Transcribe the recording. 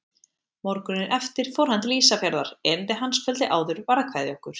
Morguninn eftir fór hann til Ísafjarðar, erindi hans kvöldið áður var að kveðja okkur.